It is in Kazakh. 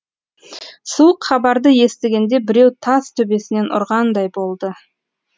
суық хабарды естігенде біреу тас төбесінен ұрғандай болды